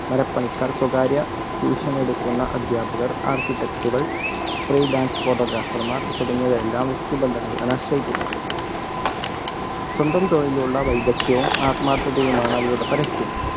മരപ്പണിക്കാർ, സ്വകാര്യ ട്യൂഷൻ എടുക്കുന്ന അധ്യാപകർ ആർട്ടിടെക്കുകൾ ഫ്രീലാൻസ് ഫോട്ടോഗ്രാഫർമാർ തുടങ്ങിയവർ എല്ലാം വ്യക്തിബന്ധങ്ങളെയാണ് ആശ്രയിക്കുന്നത് സ്വന്തം തൊഴിലിലുള്ള വൈദക്ക്ത്ഥ്യവും ആത്മാർത്ഥതയുമാണ് അവരുടെ പരസ്യം.